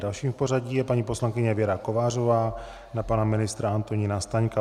Další v pořadí je paní poslankyně Věra Kovářová na pana ministra Antonína Staňka.